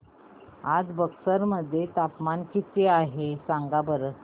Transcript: आज बक्सर मध्ये तापमान किती आहे सांगा बरं